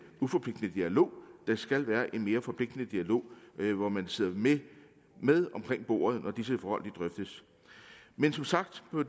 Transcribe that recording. uforpligtende dialog der skal være en mere forpligtende dialog hvor man sidder med omkring bordet når disse forhold drøftes men som sagt